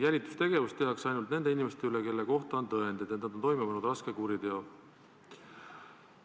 Jälitustegevust tehakse ainult nende inimeste puhul, kelle kohta on tõendeid, et nad on toime pannud raske kuriteo.